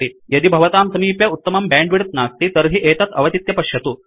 यदि भवतां समीपे उत्तमं बैण्डविड्थ नास्ति तर्हि एतत् अवचित्य पश्यतु